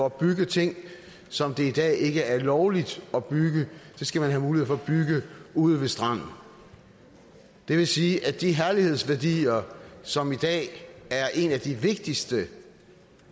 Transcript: at bygge ting som det i dag ikke er lovligt at bygge ude ved stranden og det vil sige at de herlighedsværdier som i dag er en af de vigtigste